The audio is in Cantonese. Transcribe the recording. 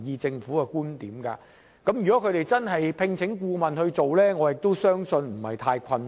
如果當局願意聘請顧問進行研究，我相信不會很困難。